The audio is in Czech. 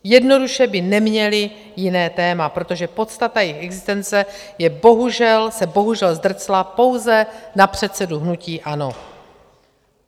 Jednoduše by neměli jiné téma, protože podstata jejich existence se bohužel zdrcla pouze na předsedu hnutí ANO.